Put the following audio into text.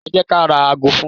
Ẹ jẹ́ ka ra ago fún-un.